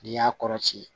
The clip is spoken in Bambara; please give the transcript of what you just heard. N'i y'a kɔrɔ ci